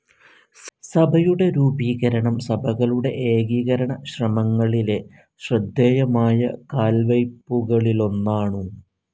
സഭയുടെ രൂപീകരണം സഭകളുടെ ഏകീകരണശ്രമംങ്ങളിലെ ശ്രദ്ധേയമായ കാൽവെയ്പുകാലൊന്നാണു.